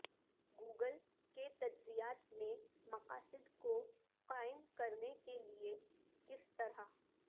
Google کے تجزیات میں مقاصد کو قائم کرنے کے لئے کس طرح